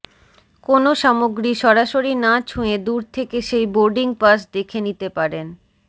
কোনও সামগ্রী সরাসরি না ছুঁয়ে দূর থেকে সেই বোর্ডিং পাস দেখে নিতে পারেন